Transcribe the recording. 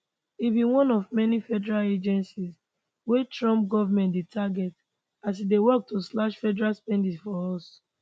e be one of many federal agencies wey trump goment dey target as e dey work to slash federal spending for us